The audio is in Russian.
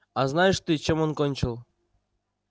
а знаешь ты чем он кончил